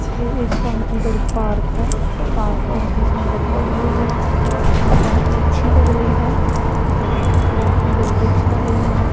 यह एक बहुत ही बड़ी पार्क है पार्क बहुत ही सुंदर बनाई हुई है और बहुत ही अच्छी लग रही है और बहुत ही बड़े वृक्ष लगे हुए हैं।